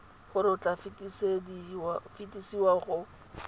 gore o tla fetesiwa go